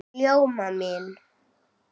Ljóma mín!